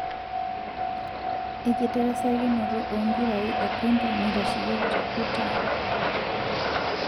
Ekitarasakinoto o mpirai ekondom nitasheyieki te Utah.